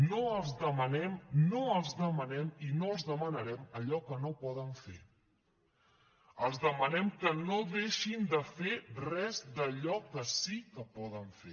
no els demanem no els demanem i no els demanarem allò que no poden fer els demanem que no deixin de fer res d’allò que sí que poden fer